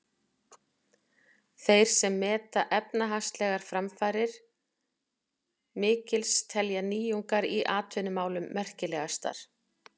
Þeir sem meta efnahagslegar framfarir mikils telja nýjungar í atvinnumálum merkilegastar.